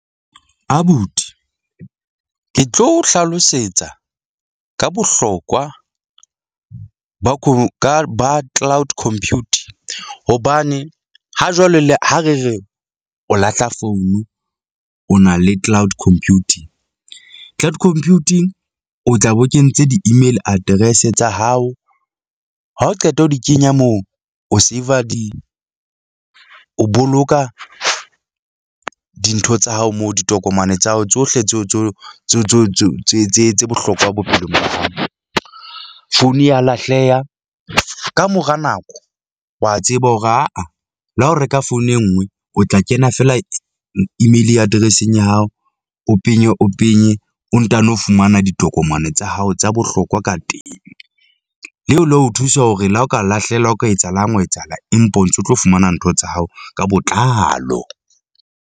Abuti ke tlo hlalosetsa ka bohlokwa ba ba cloud computing, hobane ha jwale le ha re re o lahla founu, o na le cloud computing. Cloud computing o tla be o kentse di-email address-e tsa hao ha o qeta ho di kenya moo. O saver di, o boloka dintho tsa hao mo ditokomane tsa hao tsohle tseo tseo tseo tseo tse tse tse tse bohlokwa bophelong ba hao. Founu ya lahleha kamora nako wa tseba hore aa le ha o reka founu e nngwe o tla kena fela email-i address-eng ya hao. O penye, o penye, o ntano fumana ditokomane tsa hao tsa bohlokwa ka teng. Leo la o thusa hore le ha o ka lahlehelwa ho ka etsahalang ho etsahala, empa o ntso tlo fumana ntho tsa hao ka botlalo.